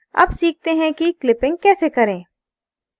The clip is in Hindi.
अब सीखते हैं कि clipping कैसे करें